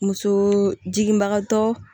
Muso jiginbagatɔ